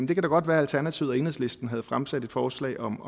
det kan da godt være at alternativet og enhedslisten havde fremsat et forslag om